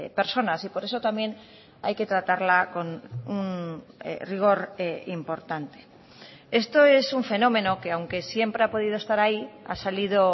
personas y por eso también hay que tratarla con un rigor importante esto es un fenómeno que aunque siempre ha podido estar ahí ha salido